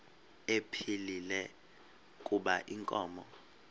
ephilile kuba inkomo